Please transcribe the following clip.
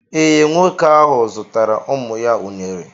Ee, nwoke ahụ zụtara ụmụ ya unere